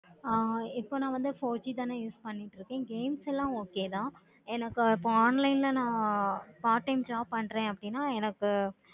ஆஹ் இப்போ நா வந்து four G தான் ஆஹ் use பண்ணிக்கிட்டு இருக்கேன். games எல்லாம் okay தான் இப்போ நா online ல part time job பண்றேன் அப்படினா எனக்கு